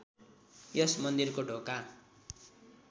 यस मन्दिरको ढोका